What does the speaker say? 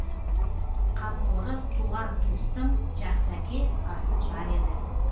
қамқоры туған туыстың жақсы әке асыл жар еді